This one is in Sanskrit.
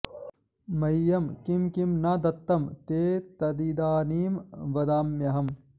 मह्यं किं किं न दत्तं ते तदिदानीं वदाम्यहम्